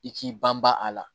I k'i ban ban a la